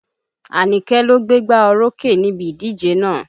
Àníké ló gbégbá orókè níbi ìdíje náà.